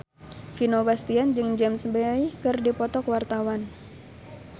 Vino Bastian jeung James Bay keur dipoto ku wartawan